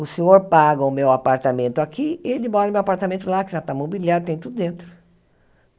O senhor paga o meu apartamento aqui e ele mora no meu apartamento lá, que já está mobiliado, tem tudo dentro.